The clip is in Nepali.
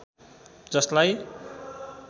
जसलाई